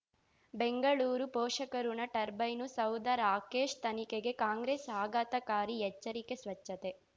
ಬೆಂಗಳೂರು ಪೋಷಕಋಣ ಟರ್ಬೈನು ಸೌಧ ರಾಕೇಶ್ ತನಿಖೆಗೆ ಕಾಂಗ್ರೆಸ್ ಆಘಾತಕಾರಿ ಎಚ್ಚರಿಕೆ ಸ್ವಚ್ಛತೆ